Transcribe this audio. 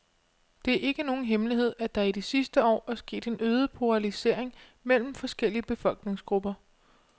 Det er ikke nogen hemmelighed, at der i de sidste år er sket en øget polarisering mellem forskellige befolkningsgrupper.